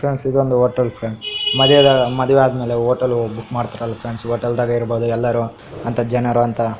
Friends ಇದೊಂದು hotel friends ಮದುವ ಮದುವಾದ್ಮೇಲೆ ಹೋಟೇಲ್ ಹೋಗಿ ಬುಕ್ಕ್ ಮಾಡ್ತಾರಲ್ಲ ಫ್ರೆಂಡ್ಸ್ ಈ ಹೋಟೇಲ್ ದಾಗ ಇರ್ಬೋದು ಎಲರು ಅಂತ ಜನರು ಅಂತ .